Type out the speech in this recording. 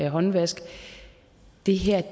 håndvask det her